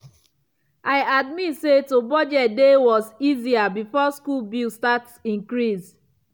i admit say to budget dey was easier before school bill start increase.